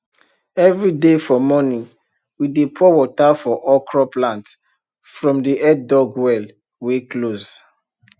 everyday for morning we dey pour water for okro plant from the headdug well wey close